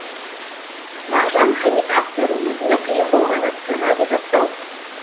мағжан хамит актер өзіме қиын болғаны сценарий жаттау